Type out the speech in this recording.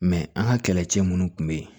Mɛ an ka kɛlɛcɛ minnu tun bɛ yen